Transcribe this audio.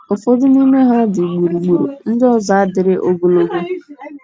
Ụfọdụ n’ime ha dị gburugburu, ndị ọzọ adịrị ogologo.